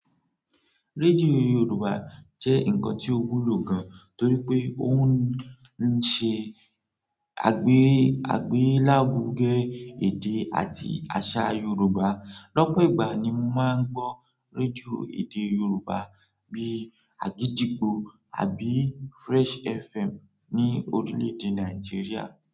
Rédíò Yorùbá jẹ́ ǹkan tí ó wúlò gan, torí pé ó ń ṣe àgbé àgbèlárugẹ́ èdè àti àṣà Yorùbá. Lọ́pọ̀ ìgbà ni mo máa ń gbọ́ rédíò èdè Yorùbá bí Agidigbo àbí Fresh FM ní orílẹ̀dè Nàìjíríà.